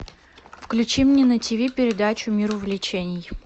включи мне на тиви передачу мир увлечений